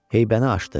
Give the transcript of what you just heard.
Heybəni açdı.